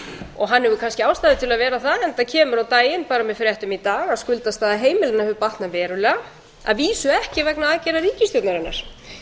og hann hefur kannski ástæðu til þess að vera það enda kemur á daginn bara með fréttum í dag að skuldastaða heimilanna hefur batnað verulega að vísu ekki vegna aðgerða ríkisstjórnarinnar